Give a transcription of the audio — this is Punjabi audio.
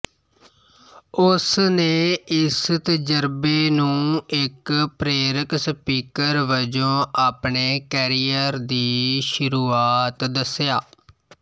ਉਸ ਨੇ ਇਸ ਤਜਰਬੇ ਨੂੰ ਇੱਕ ਪ੍ਰੇਰਕ ਸਪੀਕਰ ਵਜੋਂ ਆਪਣੇ ਕੈਰੀਅਰ ਦੀ ਸ਼ੁਰੂਆਤ ਦੱਸਿਆ